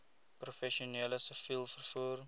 professioneel siviel vervoer